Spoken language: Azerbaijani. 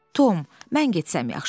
Tom, mən getsəm yaxşıdır.